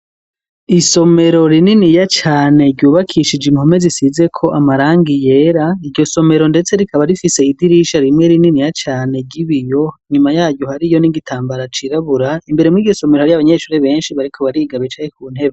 Isomero rininiya cane ryubakishije impome zisizeko amarangi yera, iryo somero ndetse rikaba rifise idirisha rimwe rininiya cane ry'ibiyo, inyuma yaryo hariyo n'igitambara cirabura, imbere muri iryo somero, hari abanyeshure benshi bariko bariga, bicaye ku ntebe.